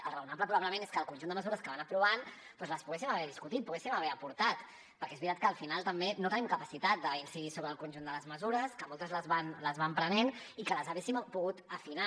el raonable probablement és que el conjunt de mesures que van aprovant doncs les poguéssim haver discutit poguéssim haver aportat perquè és veritat que al final també no tenim capacitat d’incidir sobre el conjunt de les mesures que moltes les van prenent i que les haguéssim pogut afinar